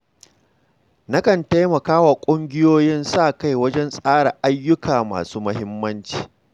Nakan taimaka wa ƙungiyoyin sa-kai wajen tsara ayyuka masu muhimmanci.